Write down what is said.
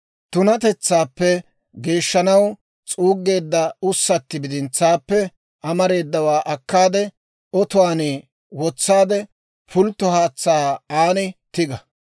«Tunatetsaappe geeshshanaw s'uuggeedda ussatti bidintsaappe amareedawaa akkaade, otuwaan wotsaade, pultto haatsaa aan tiga;